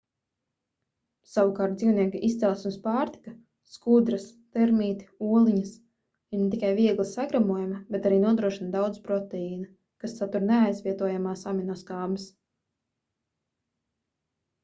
savukārt dzīvnieku izcelsmes pārtika skudras termīti oliņas ir ne tikai viegli sagremojama ber arī nodrošina daudz proteīna kas satur neaizvietojamās aminoskābes